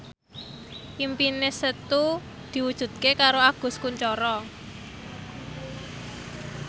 impine Setu diwujudke karo Agus Kuncoro